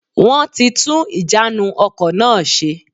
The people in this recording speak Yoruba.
Wọ́n ti tún ìjánu ọkò náà se